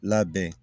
Labɛn